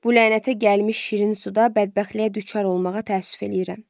Bu lənətə gəlmiş şirin suda bədbəxtliyə düçar olmağa təəssüf eləyirəm.